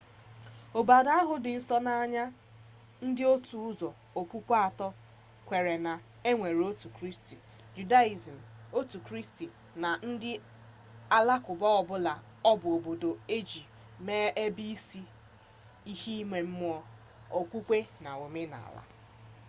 obodo ahu di nso n'anya ndi otu uzo okpukpe ato kwere na enwere otu chukwu judaism otu kristi na ndi alakwuba o bu obodo eji mere ebe isi ihe ime mmuo okpukpe na omenala